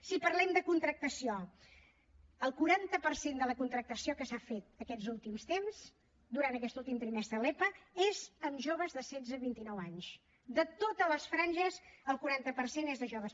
si parlem de contractació el quaranta per cent de la contractació que s’ha fet aquests últims temps durant aquest últim trimestre de l’epa és amb joves de setze a vint i nou anys de totes les franges al quaranta per cent és de joves